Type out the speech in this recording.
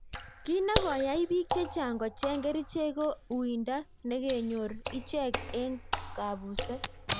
Kiy ne koyai biik chechang kocheng kericheek ko uinde nekonyor icheck eng kabuset.